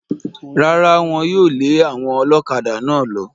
Rárá, Wọ́n yóò lé àwọn ọlọ́kadà náà lọ.